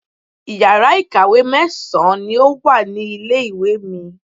Iyàrá ìkàwé mẹ́sàn-án ni o wa ní ilé ìwé mi